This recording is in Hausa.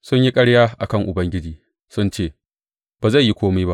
Sun yi ƙarya a kan Ubangiji; sun ce, Ba zai yi kome ba!